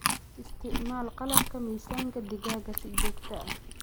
Isticmaal qalabka miisaanka digaaga si joogto ah.